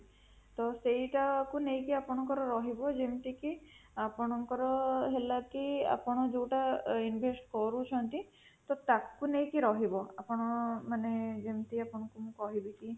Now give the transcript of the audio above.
ତ ସେଟା କୁ ନେଇକି ଆପଣଙ୍କର ରହିବ ଯେମିତି କି ଆପଣଙ୍କର ହେଲା କି ଆପଣ ଯୋଉଟା invest କରୁଛନ୍ତି ତ ତାକୁ ନେଇକି ରହିବ ଆପଣ ମାନେ ଯେମିତି ଆପଣଙ୍କୁ ମୁଁ କହିବି କି